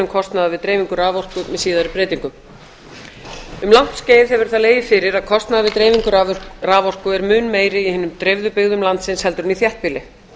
við dreifingu raforku með síðari breytingum um langt skeið hefur það lagið fyrir að kostnaður við dreifingu raforku er mun meiri í hinum dreifðu byggðum landsins heldur en í þéttbýli